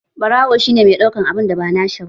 Ɓarawo shi ne mai ɗaukan abun da ba nashi ba